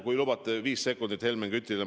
Kui lubate, siis pühendan viis sekundit Helmen Kütile.